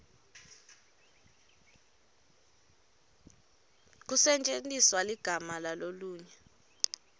kusetjentiswe ligama lalolunye